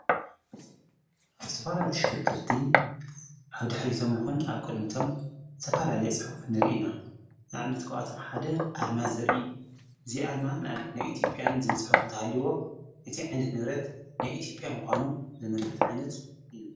ተፈራልትሽክርክርቲ ሓብ ድኅሪቶም ይኹን ኣብ ቅድሚቶም ተፋላልየ ጽሑፍ ንርኢና ናኣብ ነት ቀዋቶም ሓደ ኣርማዝር እዩ እዚ ኣርማ ንኣብኒት ናይ ኢቲጴያን ዘብልጽሑፍ እንተሃሊዎ እቲ ዕንት ነብረት ንይኢቲጵያ ምዃኑ ዘመልክጥ ዓይነት እዩ።